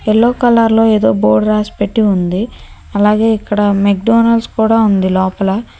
Yellow కలర్లో ఎదో board రాసి పెట్టి ఉంది అలాగే ఇక్కడ మేగ్డోనల్స్ ఉంది లోపల.